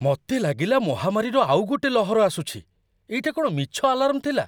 ମତେ ଲାଗିଲା ମହାମାରୀର ଆଉ ଗୋଟେ ଲହର ଆସୁଛି । ଏଇଟା କ'ଣ ମିଛ ଆଲାର୍ମ ଥିଲା?